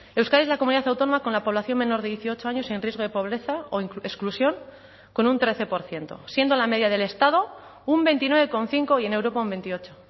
euskadi es la comunidad autónoma con la población menor de dieciocho años en riesgo de pobreza o exclusión con un trece por ciento siendo la media del estado un veintinueve coma cinco y en europa un veintiocho